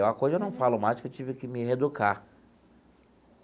É uma coisa que eu não falo mais porque eu tive que me reeducar.